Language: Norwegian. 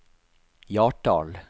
Hjartdal